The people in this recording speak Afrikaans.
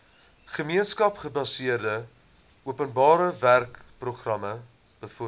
gemeenskapsgebaseerde openbarewerkeprogram bevorder